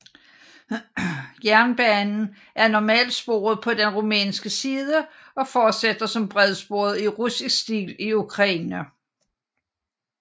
Jernbanen er normalsporet på den rumænske side og fortsætter som bredsporet i russisk stil i Ukraine